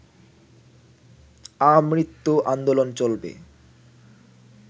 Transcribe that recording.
আমৃত্যু আন্দোলন চলবে